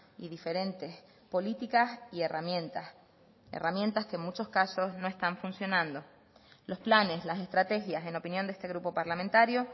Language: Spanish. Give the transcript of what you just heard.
y diferentes políticas y herramientas herramientas que en muchos casos no están funcionando los planes las estrategias en opinión de este grupo parlamentario